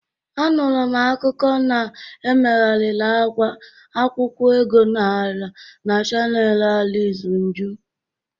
Anụrụ m akụkụ na-emegharịrị agwa akwụkwọ ego Naịra na chanel Ariz njuz.